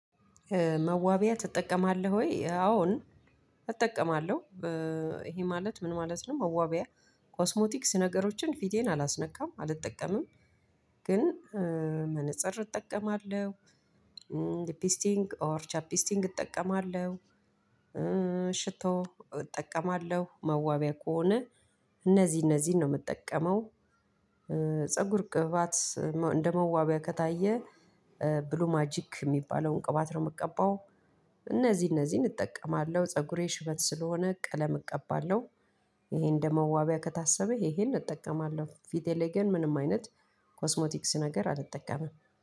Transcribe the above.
መዋቢያ ትጠቀማለህ ወይ? አዎን እጠቀማለሁ እሄ ማለት ምን ማለት ነው መዋቢያ ኮስሞቲክስ ነገሮችን ፊቴን አላስነካም አልጠቀምም። ግን መነፀር እጠቀማለሁ። ሊፒስቲንግ ኦር ቻፒስቲንግ እጠቀማለሁ። ሽቶ እጠቀማለሁ መዋቢያ ከሆነ እነዚህ እነዚህን ነው ምጠቀመው። ፀጉር ቅባት እንደመዋቢያ ከታየ ብሉ ማጂክ ሚባለውን ቅባት ነው ምቀባው። እነዚህ እነዚህን እጠቀማለሁ ፀጉሬ ሽበት ስለሆነ ቀለም እቀባለሁ። እሄን እንደ መዋቢያ ከታሰበ እሄን እጠቀማለሁ። ፊቴ ላይ ግን ምንም አይነት ኮስሞቲክስ ነገር አልጠቀመም።